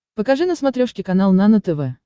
покажи на смотрешке канал нано тв